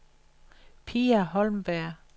Pia Holmberg